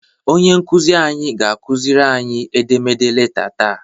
Onye nkuzi anyị ga-akuziri anyị edemede leta taa.